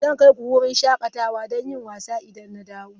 Zan kai ku wurin shakatawa don yin wasa idan na dawo.